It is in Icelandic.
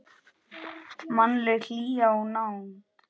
Mannleg hlýja og nánd.